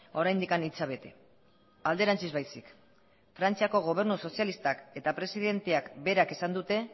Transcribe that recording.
oraindik hitza bete alderantziz baizik frantziako gobernu sozialistak eta presidenteak berak esan dute